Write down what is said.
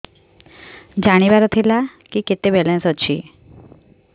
ଜାଣିବାର ଥିଲା କି କେତେ ବାଲାନ୍ସ ଅଛି